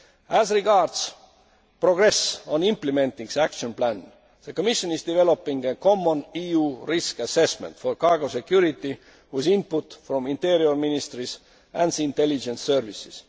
report. As regards progress on implementing the action plan, the Commission is developing a common EU risk assessment for cargo security, with input from interior ministries and the intelligence